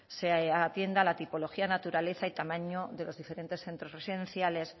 se atienda la tipología naturaleza y tamaño de los diferentes centros residenciales